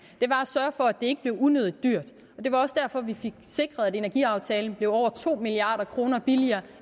var at sørge for at ikke blev unødig dyrt og det var også derfor vi fik sikret at energiaftalen blev over to milliard kroner billigere